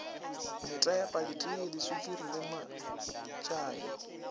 metepa diteye diswikiri le matšae